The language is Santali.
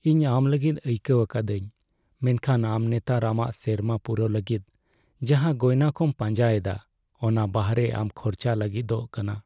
ᱤᱧ ᱟᱢ ᱞᱟᱹᱜᱤᱫ ᱟᱭᱠᱟᱹᱣ ᱟᱠᱟᱫᱟᱹᱧ, ᱢᱮᱱᱠᱷᱟᱱ ᱟᱢ ᱱᱮᱛᱟᱨ ᱟᱢᱟᱜ ᱥᱮᱨᱢᱟ ᱯᱩᱨᱟᱹᱣ ᱞᱟᱹᱜᱤᱫ ᱡᱟᱦᱟᱸ ᱜᱚᱭᱱᱟ ᱠᱚᱢ ᱯᱟᱸᱡᱟ ᱮᱫᱟ ᱚᱱᱟ ᱵᱟᱦᱨᱮ ᱟᱢ ᱠᱷᱚᱨᱪᱟ ᱞᱟᱹᱜᱤᱫᱚᱜ ᱠᱟᱱᱟ ᱾